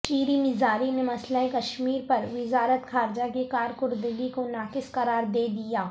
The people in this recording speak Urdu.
شیریں مزاری نے مسئلہ کشمیر پر وزارت خارجہ کی کارکردگی کو ناقص قرار دے دیا